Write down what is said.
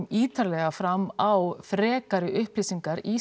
ítarlega fram á frekari upplýsingar í